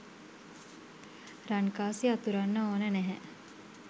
රන්කාසි අතුරන්න ඕන නැහැ.